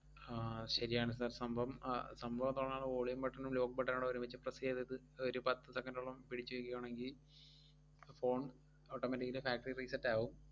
ആഹ് ശെരിയാണ് sir സംഭവം. ആഹ് സംഭവം അതുകൊണ്ടാണ് volume button ഉം lock button ഊടെ ഒരുമിച്ച് press ചെയ്തത് ഒരു പത്ത് second ഓളം പിടിച്ചു നിക്കുവാണെങ്കി phone automatically factory reset ആവും.